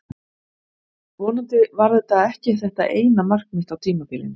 Vonandi var þetta ekki þetta eina mark mitt á tímabilinu.